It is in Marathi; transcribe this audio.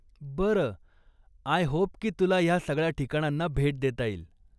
बरं, आय होप की तुला ह्या सगळ्या ठिकाणांना भेट देता येईल.